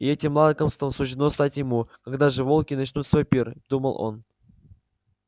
и этим лакомством суждено стать ему когда же волки начнут свой пир думал он